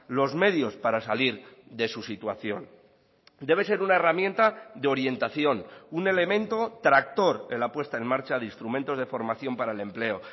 los medios para salir de su situación debe ser una herramienta de orientación un elemento tractor en la puesta en marcha de instrumentos de formación para el empleo